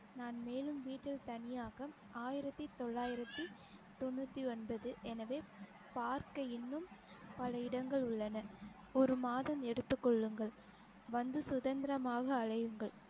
நான் மேலும் வீட்டில் தனியாக ஆயிரத்தி தொல்லாயிரத்தி தொண்நூத்தி ஒன்பது எனவே பார்க்க இன்னும் பல இடங்கள் உள்ளன ஒரு மாதம் எடுத்துக் கொள்ளுங்கள் வந்து சுதந்திரமாக அழையுங்கள்